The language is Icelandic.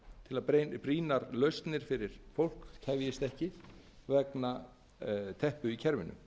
til að brýnar lausnir fyrir fólk tefjist ekki vegna teppu í kerfinu